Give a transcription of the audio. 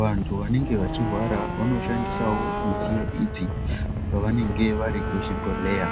vantu vanenge vachirwara vanoshandisawo midziyo idzi pavanenge vari kuzvibhodhleya.